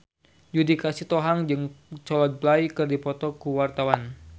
Judika Sitohang jeung Coldplay keur dipoto ku wartawan